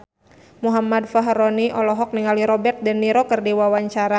Muhammad Fachroni olohok ningali Robert de Niro keur diwawancara